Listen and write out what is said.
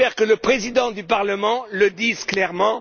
J'espère que le Président du Parlement le dit clairement.